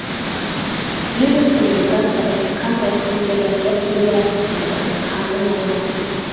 Virusning mutatsiyasi qanday xususiyatlarga ega ekani hali noma’lum.